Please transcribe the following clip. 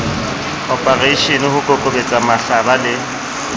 oporeishene ho kokobetsa mahlaba le